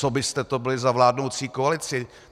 Co byste to byli za vládnoucí koalici?